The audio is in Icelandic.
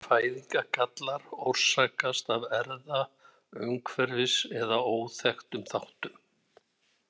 Fæðingargallar orsakast af erfða-, umhverfis- eða óþekktum þáttum.